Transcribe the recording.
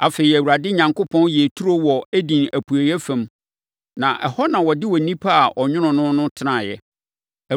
Afei, Awurade Onyankopɔn yɛɛ turo wɔ Eden apueeɛ fam, na ɛhɔ na ɔde onipa a ɔnwonoo no no tenaeɛ.